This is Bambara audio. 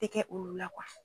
tɛ kɛ olu la